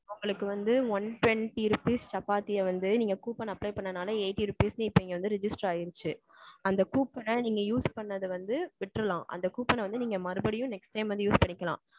உங்களுக்கு வந்து one twenty rupees சப்பாத்திய வந்து நீங்க coupon apply பண்ணுனால eighty rupees க்கு இப்போ இங்க வந்து register ஆயிருச்சு. அந்த coupon அ நீங்க use பண்ணது வந்து விட்டர்லாம் அந்த coupon அ வந்து நீங்க மறுபடியும் வந்து next time வந்து use பண்ணிக்கலாம்.